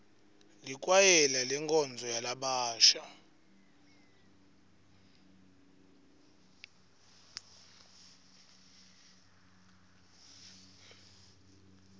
likwayela lenkonzo yalabasha